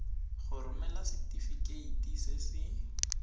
go romela setefikeiti se se